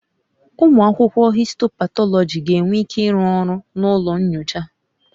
Ụmụ akwụkwọ histopathology ga-enwe ike ịrụ ọrụ na ụlọ nyocha